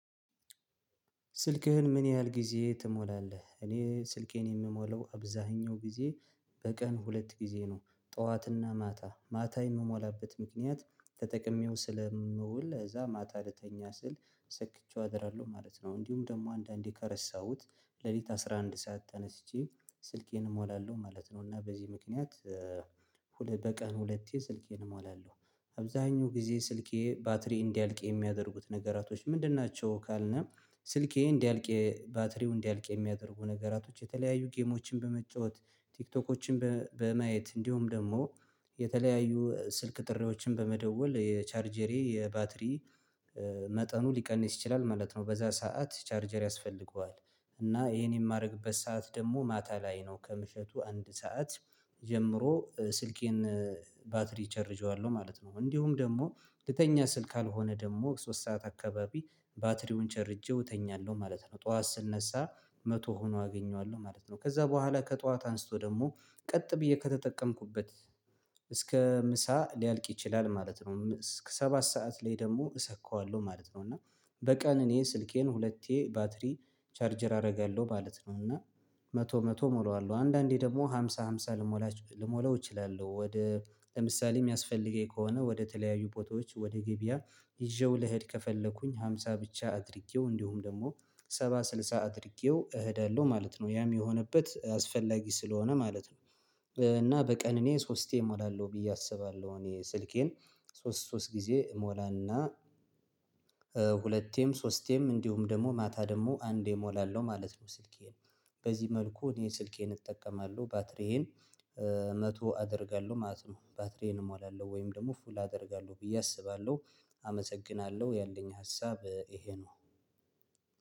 ስልክህን ምን ያህል ጊዜ ትሞላለህ? እኔ ስልኬን የምሞለው አብዛኛው ጊዜ በቀን ሁለት ጊዜ ነው ጠዋትና ማታ ማታ የምሞላበት ምክንያት ተጠቅሜው ስለምውል እዛ ማታ ለተኛ ስል ሰክቼው አደራለሁ ማለት ነው። እንዲሁም ደግሞ አንዳንዴ ከረሳሁት ሌሊት አስራ አንድ ሰዓት ተነስቼ ስልኬንም እሞላለሁ ማለት ነው። እና በዚህ ምክንያት በቀን ሁለቴ ስልኬን እሟላለሁ። አብዛኛው ጊዜ ስልኬ ባትሪ እንዲያልቅ የሚያደርጉት ነገራቶች ምንድን ናቸው ካልንም ስልኬ እንዲያልቅ ባትሪው እንዲያልቅ የሚያደርጉ ነገራቶች የተለያዩ ጌሞችን በመጫወት ቲክቶኮችን በማየት እንዲሁም ደግሞ የተለያዩ ስልክ ጥሪዎችን በመደወል የቻርጀሬ የባትሪ መጠኑ ሊቀንስ ይችላል ማለት ነው። በዛ ሰዓት ቻርጀር ያስፈልገዋል እና ይሄን የማደርግበት ሰዓት ደግሞ ማታ ላይ ነው ከምሽቱ አንድ ሰዓት ጀምሮ ስልኬን ባትሪ እቸርጀዋለሁ ማለት ነው። እንዲሁም ደግሞ ልተኛ ስልክ ካልሆነ ደግሞ ሶስት ሰዓት አካባቢ ባትሪውን ቸርጄው እተኛለሁ ማለት ነው። ጠዋት ስነሳ መቶ ሆኖ አገኘዋለሁ ማለት ነው። ከዛ በኋላ ከጠዋት አንስቶ ደግሞ ቀጥ ብዬ ከተጠቀምኩበት እስከ ምሳ ሊያልቅ ይችላል ማለት ነው እስከ ሰባት ሰዓት ላይ ደግሞ እሰካዋለሁ ማለት ነው። እና በቀን እኔን ስልኬን ሁለቴ ባትሪ ቻርጅር አደርጋለሁ ማለት ነው። እና መቶ መቶ ሞላዋለሁ አንዳንዴ ደግሞ ሃምሳ ሃምሳ ልሞላው እችላለሁ። ወደ ለምሳሌ የሚያስፈልገኝ ከሆነ ወደ ተለያዩ ቦታውዎች ወደ ገበያ ይዤው ለሄድ ከፈለኩኝ ሃምሳ ብቻ አድርጌው እንዲሁም ደግሞ ሰባ ስልሳ አድርጌው እሄዳለሁ ማለት ነው። ያም የሆነበት አስፈላጊ ስለሆነ ማለት ነው እና በቀን እኔ ሶስቴ እሞላለሁ ብዬ አስባለሁ። እኔ ስልኬን ሶስት ሶስት ጊዜ እሞላና ሁለቴም ሶስቴም እንዲሁም ደግሞ ማታ ደግሞ አንዴ እሞላለሁ ማለት ነው ስልኬን። በዚህ መልኩ እኔ ስልኬን እጠቀማለሁ ባትሪዬን መቶ አደርጋለሁ ማለት ነው። ባትሪዬን እሞላለሁ ወይም ደግሞ ፉል አደርጋለሁ ብዬ አስባለሁ። አመሰግናለሁ ያለኝ ሀሳብ ይሄ ነው።